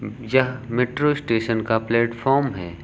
यह metro station का platform है।